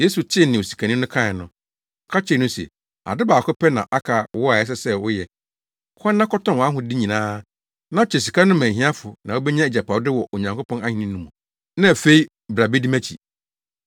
Yesu tee nea osikani no kae no, ɔka kyerɛɛ no se, “Ade baako pɛ na aka wo a ɛsɛ sɛ woyɛ. Kɔ na kɔtɔn wʼahode nyinaa na kyɛ sika no ma ahiafo na wubenya agyapade wɔ Onyankopɔn Ahenni no mu, na afei bra bedi mʼakyi.”